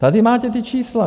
Tady máte ta čísla.